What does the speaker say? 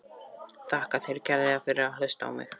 Þakka þér kærlega fyrir að hlusta á mig!